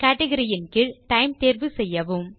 category ன் கீழ் time தேர்வு செய்யவும்